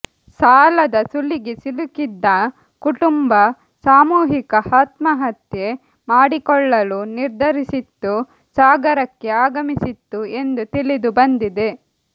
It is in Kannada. ಸಾಲದ ಸುಳಿಗೆ ಸಿಲುಕಿದ್ದ ಕುಟುಂಬ ಸಾಮೂಹಿಕ ಆತ್ಮಹತ್ಯೆ ಮಾಡಿಕೊಳ್ಳಲು ನಿರ್ಧರಿಸಿತ್ತು ಸಾಗರಕ್ಕೆ ಆಗಮಿಸಿತ್ತು ಎಂದು ತಿಳಿದು ಬಂದಿದೆ